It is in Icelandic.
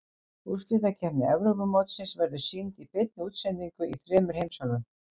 Úrslitakeppni Evrópumótsins verður sýnd í beinni útsendingu í þremur heimsálfum.